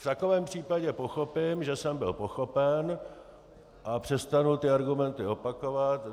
V takovém případě pochopím, že jsem byl pochopen, a přestanu ty argumenty opakovat.